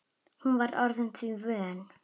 Hún var orðin því vön.